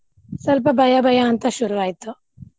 ಸ್ವಲ್ಪ ಭಯಾ ಭಯಾ ಅಂತ ಶುರುವಾಯ್ತು.